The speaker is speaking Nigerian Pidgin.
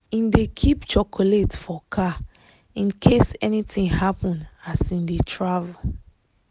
him dey keep chocolate for car in case anything happen as him dey travel.